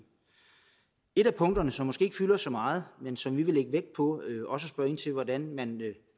et af punkterne som måske ikke fylder så meget men som vi vil lægge vægt på og spørge ind til hvordan man